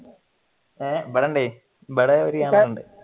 A ഇവിടുണ്ട് ഇവിടെ ഒരു ക്യാമറ ഉണ്ട്